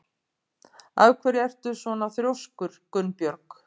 Af hverju ertu svona þrjóskur, Gunnbjörg?